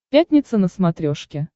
пятница на смотрешке